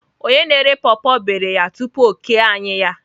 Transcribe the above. Onye na-ere paw paw iberi ya tupu o kee anyị ya.